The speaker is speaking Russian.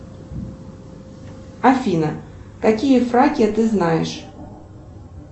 афина какие фраки ты знаешь